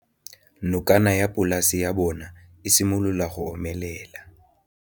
Nokana ya polase ya bona, e simolola go omelela.